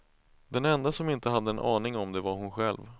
Den enda som inte hade en aning om det var hon själv.